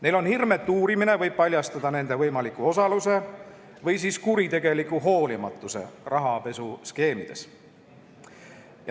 Neil on hirm, et uurimine võib paljastada nende võimaliku osaluse või kuritegeliku hoolimatuse rahapesuskeemides.